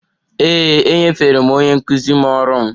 Ee, enyefere m onye nkụzi m ọrụ m